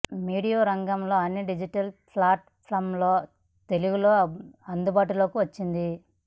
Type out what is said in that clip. media రంగంలో అన్ని digital ఫ్లాట్ ఫాంలలో తెలుగులో అందుబాటులోకి వచ్చింది